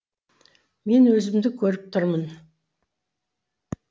мен өзімді көріп тұрмын